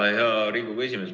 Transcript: Hea Riigikogu esimees!